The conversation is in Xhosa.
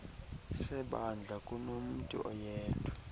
sebandla kunomntu oyedwa